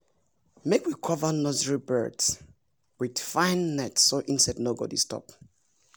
make we cover nursery beds with fine nets so insect no go disturb.